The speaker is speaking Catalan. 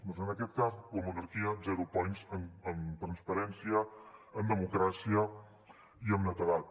doncs en aquest cas la monarquia zero points en transparència en democràcia i en netedat